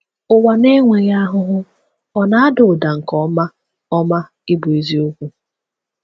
Ụwa na-enweghị ahụhụ ọ̀ na-ada ụda nke ọma ọma ịbụ eziokwu?